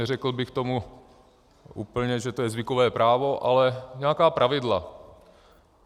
Neřekl bych tomu úplně, že to je zvykové právo, ale nějaká pravidla.